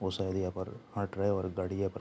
बहुत सारे यहां पर हां ड्राइवर गाड़ी यहां पर --